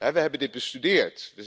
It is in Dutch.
We hebben dit bestudeerd.